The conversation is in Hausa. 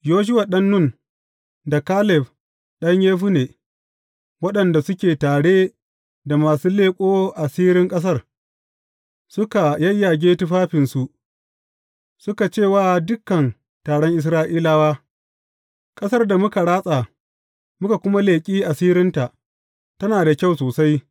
Yoshuwa ɗan Nun da Kaleb ɗan Yefunne waɗanda suke tare da masu leƙo asirin ƙasar, suka yayyage tufafinsu suka ce wa dukan taron Isra’ilawa, Ƙasar da muka ratsa, muka kuma leƙi asirinta, tana da kyau sosai.